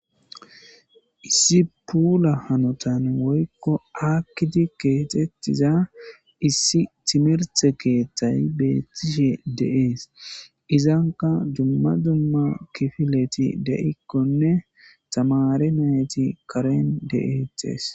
issi puula hanotan woykko aakkidi keexettiza issi timirthe keeththay beethtishe de'es. Izanka dumma dumma kifileti de7ikkonne tamaare nayti karen de7etees.